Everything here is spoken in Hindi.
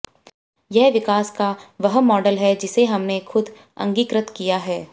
यह विकास का वह मॉडल है जिसे हमने खुद अंगीकृत किया है